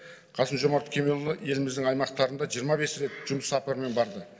қасым жомарт кемелұлы еліміздің аймақтарында жиырма бес рет жұмыс сапарымен барды